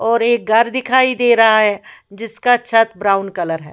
और एक घर दिखाई दे रहा है जिसका छत ब्राउन कलर है।